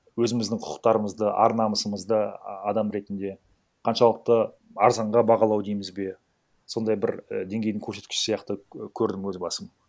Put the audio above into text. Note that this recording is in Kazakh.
өзіміздің құқықтарымызды ар намысымызды а адам ретінде қаншалықты арзанға бағалау дейміз бе сондай бір і денгейдің көрсеткіші сияқты і көрдім өз басым